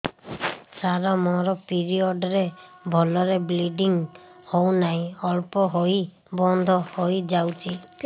ସାର ମୋର ପିରିଅଡ଼ ରେ ଭଲରେ ବ୍ଲିଡ଼ିଙ୍ଗ ହଉନାହିଁ ଅଳ୍ପ ହୋଇ ବନ୍ଦ ହୋଇଯାଉଛି